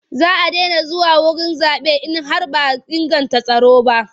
Za a daina zuwa wurin zaɓe in har ba a inganta tsaro ba.